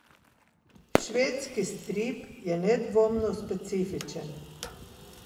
Švedski strip je nedvomno specifičen.